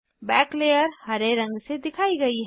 back layer हरे रंग से दिखाई गयी है